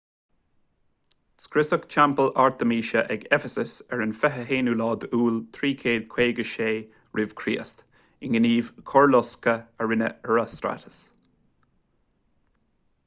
scriosadh teampall artaimíse ag eifeasas ar an 21 iúil 356 r.ch i ngníomh coirlosctha a rinne herostratus